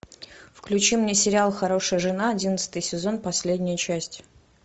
включи мне сериал хорошая жена одиннадцатый сезон последняя часть